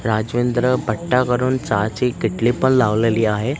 राजवेंद्र भट्टा करून चहाची किटली पण लावलेली आहे.